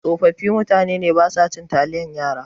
Tsofaffin mutane basa cin taliyan yara.